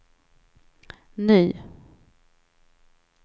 ny